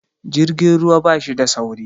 Jirgin ruwa bashi da sauri